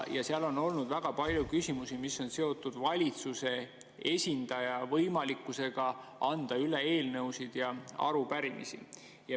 On olnud väga palju küsimusi, mis on seotud valitsuse esindaja võimalusega anda üle eelnõusid ja arupärimisi.